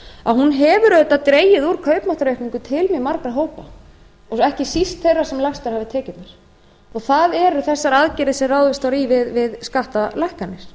að hún hefur auðvitað dregið úr kaupmáttaraukningu til mjög margra og ekki síst þeirra sem lægstar hafa tekjurnar það eru þessar aðgerðir sem ráð var í við skattalækkanir